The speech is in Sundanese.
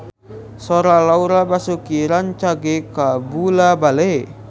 Sora Laura Basuki rancage kabula-bale